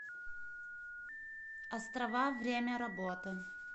острова время работы